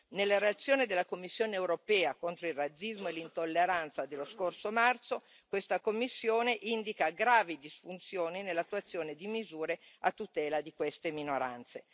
Nella relazione della Commissione europea contro il razzismo e l'intolleranza dello scorso marzo, questa Commissione indica gravi disfunzioni nell'attuazione di misure a tutela di queste minoranze.